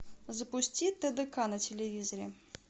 запусти тдк на телевизоре